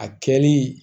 A kɛli